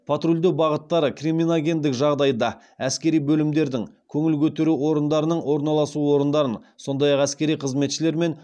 патрульдеу бағыттары криминогендік жағдайды әскери бөлімдердің көңіл көтеру орындарының орналасу орындарын сондай ақ әскери қызметшілер мен